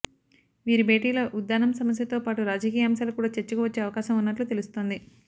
వీరి భేటీలో ఉద్దానం సమస్యతోపాటు రాజకీయ అంశాలు కూడా చర్చకు వచ్చే అవకాశం ఉన్నట్లు తెలుస్తోంది